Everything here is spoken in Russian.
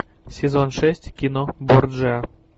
сезон шесть кино борджиа